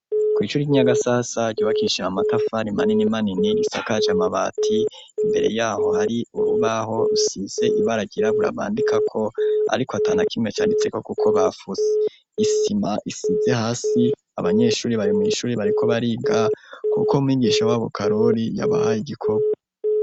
Kw'ishure ry'i Nyagasasa ryubakishije amatafari manini manini, risakaje amabati, imbere y'aho hari urubaho rusize ibara ryirabura bandikako, ariko atanakimwe canitseko kuko bafuse. Isima isize hasi, abanyeshuri bari mw'ishuri bariko bariga kuko mwigisha w'abo karori yabahaye igikorwa.